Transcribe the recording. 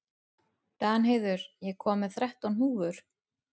Danheiður, ég kom með þrettán húfur!